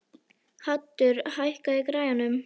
Haddur, hækkaðu í græjunum.